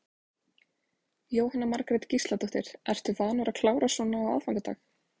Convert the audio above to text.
Jóhanna Margrét Gísladóttir: Ertu vanur að klára svona á aðfangadag?